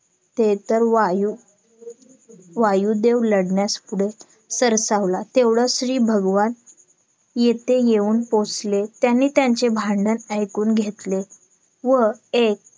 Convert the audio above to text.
ते तर वायू वायुदेव लडण्यास पुढे सरसावला तेवढ्यात श्री भगवान येथे येऊन पोचले त्यांनी त्यांचे भांडण ऐकून घेतले व एक